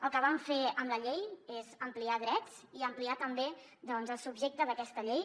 el que vam fer amb la llei és ampliar drets i ampliar també el subjecte d’aquesta llei